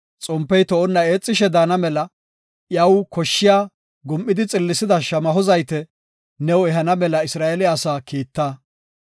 Xompey to7onna eexishe daana mela iyaw koshshiya gum7idi xillisida shamaho zayte new ehana mela Isra7eele asaa kiitta.